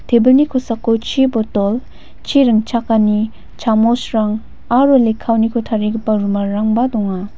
tebilni kosako chi botol chi ring·chakani chamosrang aro lekkaoniko tarigipa rumalrangba donga.